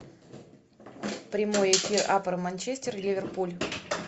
прямой эфир апл манчестер ливерпуль